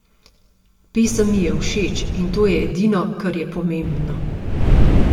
Pesem mi je všeč in to je edino kar je pomembno!